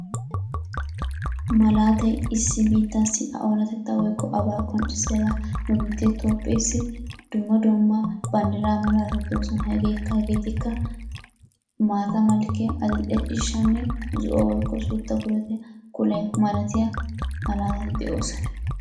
Malaatay issi biittaassi a oonatettaa woyikko abaa qonccissiyagaa. Nu biittee Toophpheessi dumma dumma banddiraa malaatati de'oosona. Hegeetikka maata malkkiya, adil'e ciishshanne zo'o woyikko suutta kule malatiya malaatati de'oosona.